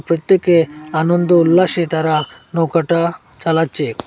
প্রত্যেকে আনন্দ উল্লাসে তারা নৌকাটা চালাচ্ছে।